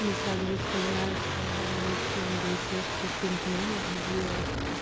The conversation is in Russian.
мне сразу же вспоминается мультфильм белоснежка и семь гномов где